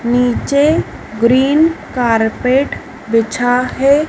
नीचे green carpet बिछा है।